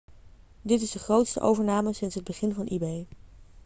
dit is de grootste overname sinds het begin van ebay